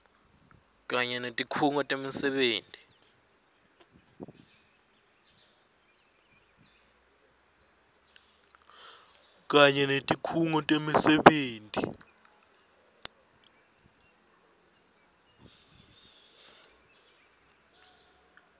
kanye netikhungo temisebenti